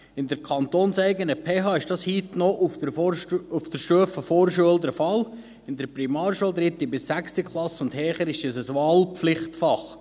In der kantonseigenen PH ist dies heute auf der Stufe Vorschule noch der Fall, in der Primarschule, 3. bis 6. Klasse und höher, ist es ein Wahlpflichtfach.